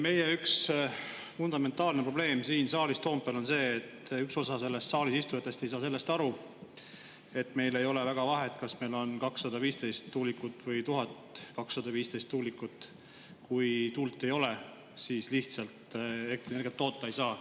Meie üks fundamentaalne probleem siin saalis Toompeal on see, et üks osa selles saalis istujatest ei saa sellest aru, et meil ei ole väga vahet, kas meil on 215 tuulikut või 1215 tuulikut, kui tuult ei ole, siis lihtsalt elektrienergiat toota ei saa.